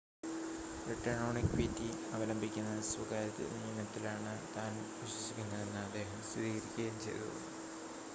return on equity അവലംബിക്കുന്ന സ്വകാര്യത നിയമത്തിലാണ് താൻ വിശ്വസിക്കുന്നതെന്ന് അദ്ദേഹം സ്ഥിരീകരിക്കുകയും ചെയ്തു